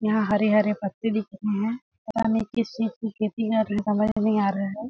यहाँ हरे-हरे पत्ते दिखाई दे रे पता नहीं किस चीज की खेती है समझ नहीं आ रहा है।